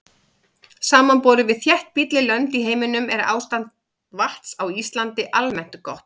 Samanborið við þéttbýlli lönd í heiminum er ástand vatns á Íslandi almennt gott.